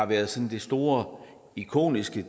været sådan det store ikoniske